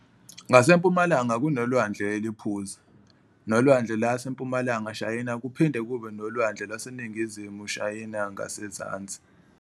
Ngasempumalanga kunelwandle eliPhuzi nelwandle laseMpumalanga Shayina kuphinde kube nelwande laseNingizimu Shayinga ngazenzansi.